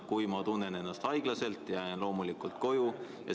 Kui ma tunnen ennast haiglaselt, jään loomulikult koju.